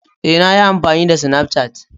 Ee, na yi amfani da SnafCat.